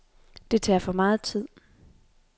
Det tager for meget tid.